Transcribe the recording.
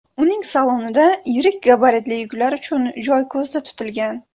Uning salonida yirik gabaritli yuklar uchun joy ko‘zda tutilgan.